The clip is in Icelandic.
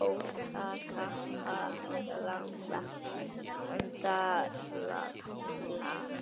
jóta, kappa, lambda lalla